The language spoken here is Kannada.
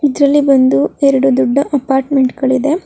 ಇದ್ರಲ್ಲಿ ಬಂದು ಎರಡು ಅಪಾರ್ಟ್ಮೆಂಟ್ ಗಳಿದೆ.